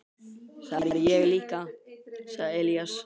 Það er ég líka, sagði Elías.